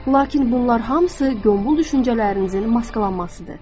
Lakin bunlar hamısı yombul düşüncələrinizin maskalanmasıdır.